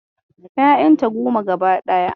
Ƴayanta goma gaba daya.